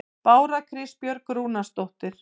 Bára Kristbjörg Rúnarsdóttir